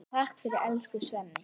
Takk fyrir allt, elsku Svenni.